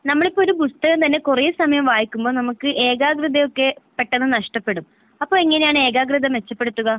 നമ്മള് ഇപ്പൊ ഒരു പുസ്തകം തന്നെ കുറേ സമയം വായിക്കുമ്പോൾ നമുക്ക് ഏകാകൃത ഒക്കെ പെട്ടെന്ന് നഷ്ടപ്പെടും. അപ്പൊ എങ്ങനെയാണ് ഏകാകൃത മെച്ചപ്പെടുത്തുക?